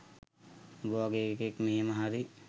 උඹ වගේ එකෙක් මෙහෙම හරි